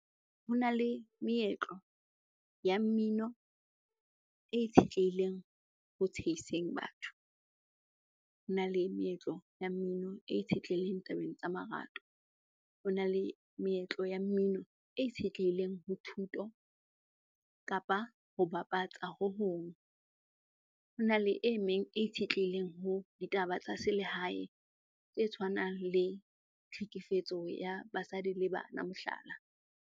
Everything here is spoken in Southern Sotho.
Ho na le meetlo ya mmino e itshetlehileng ho tsheiseng batho, hona le meetlo ya mmino e itshetlehileng tabeng tsa marato, ho na le meetlo ya mmino e itshetlehileng ho thuto kapa ho bapatsa hohong. Hona le e meng e itshetlehileng ho ditaba tsa selehae tse tshwanang le tlhekefetso ya basadi le bana, mohlala.